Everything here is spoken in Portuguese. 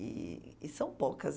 E e são poucas.